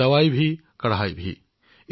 ঔষধো কঠোৰ নিয়মানুৱৰ্তিতাও